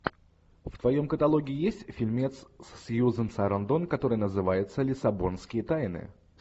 в твоем каталоге есть фильмец с сьюзен сарандон который называется лиссабонские тайны